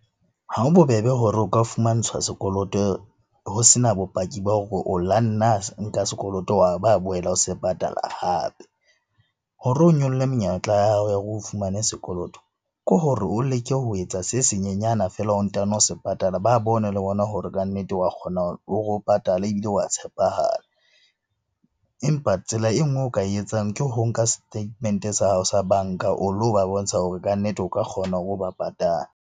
Ha ho bobebe hore o ka fumantshwa sekoloto ho sena bopaki ba hore o lo nna nka sekoloto, wa ba boela o se patala hape. Hore o nyolle menyetla ya hao ya hore o fumane sekoloto, ke hore o leke ho etsa se senyenyane feela o ntano o se patala. Ba bone le bona hore kannete wa kgona hore o patale ebile wa tshepahala. Empa tsela e nngwe o ka e etsang ke ho nka statement-e sa hao sa banka o lo ba bontsha hore kannete o ka kgona hore o ba patale.